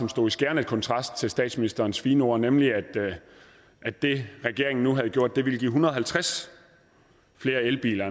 stod i skærende kontrast til statsministerens fine ord nemlig at det regeringen nu havde gjort ville give en hundrede og halvtreds flere elbiler